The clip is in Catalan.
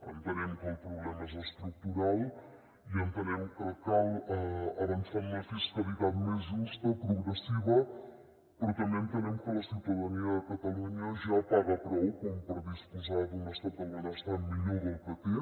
entenem que el problema és estructural i entenem que cal avançar en una fiscalitat més justa progressiva però també entenem que la ciutadania de catalunya ja paga prou com per disposar d’un estat del benestar millor del que té